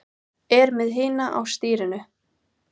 Er með hina á stýrinu.